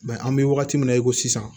an bɛ wagati min na i ko sisan